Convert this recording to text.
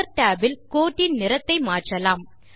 colour Tab இல் கோட்டின் நிறத்தை மாற்றலாம்